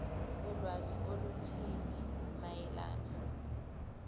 ulwazi oluthile mayelana